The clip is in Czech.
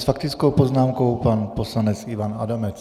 S faktickou poznámkou pan poslanec Ivan Adamec.